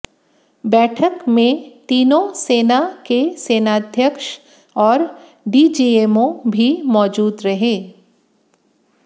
बैठक में तीनों सेना के सेनाध्यक्ष और डीजीएमओ भी मौजूद रहे